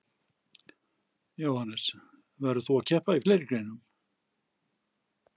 Jóhannes: Verður þú að keppa í fleiri greinum?